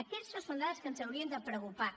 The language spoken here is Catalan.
aquestes són dades que ens haurien de preocupar